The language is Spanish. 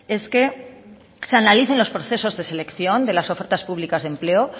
es que se analicen los procesos de selección de las ofertas públicas de empleo